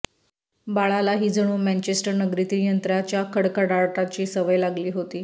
बाळालाही जणू मँचेस्टर नगरीतील यंत्राच्या खडखडाटाची सवय लागली होती